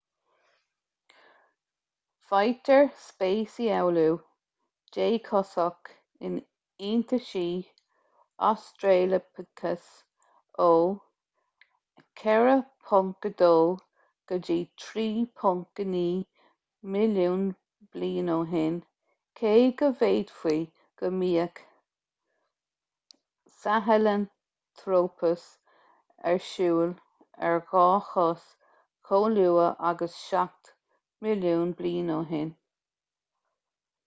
faightear speisialú déchosach in iontaisí australopithecus ó 4.2-3.9 milliún bliain ó shin cé go bhféadfaí go mbíodh sahelanthropus ar siúl ar dhá chos chomh luath agus seacht milliún bliain ó shin